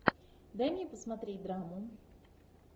дай мне посмотреть драму